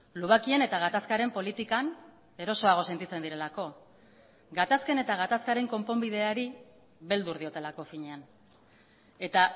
lubakien eta gatazkaren politikan erosoago sentitzen direlako gatazken eta gatazkaren konponbideari beldur diotelako finean eta